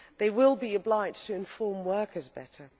they will be obliged to inform workers better.